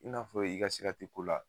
I n'a fɔ i ka sira te ko la